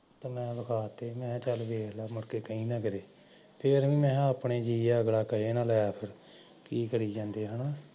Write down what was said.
ਤੇ ਮੈਂ ਲਿਖਾਤੀ ਮੈਂ ਕਿਹਾ ਸਾਡੇ ਆਪਣੇ ਜੀਅ ਐ ਅਗਲਾ ਕਹੇ ਨਾ ਕੀ ਕਰੀ ਜਾਂਦੇ ਐ